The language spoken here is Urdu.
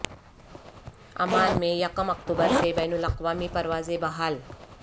عمان میں یکم اکتوبر سے بین الاقوامی پروازیں بحال